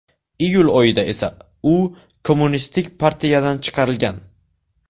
Iyul oyida esa u Kommunistik partiyadan chiqarilgan.